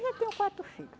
Já tenho quatro filho